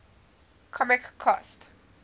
comic cost